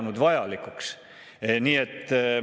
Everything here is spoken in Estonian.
Nii et see on ikkagi väga ajutine hädalahendus.